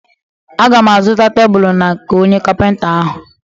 Aga m azụta tebulu na nke onye kapịnta ahụ.